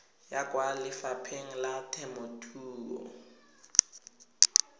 ya kwa lefapheng la temothuo